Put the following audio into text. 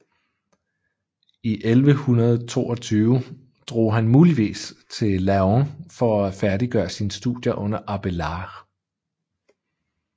I 1122 drog han muligvis til Laon for at færdiggøre sine studier under Abélard